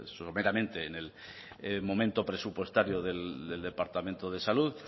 someramente en el momento presupuestario del departamento de salud